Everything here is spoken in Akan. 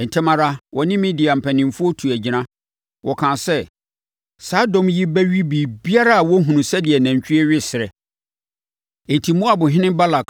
Ntɛm ara, wɔne Midian mpanimfoɔ tuu agyina. Wɔkaa sɛ, “Saa dɔm yi bɛwe biribiara a wɔhunu sɛdeɛ nantwie we serɛ.” Enti, Moab ɔhene Balak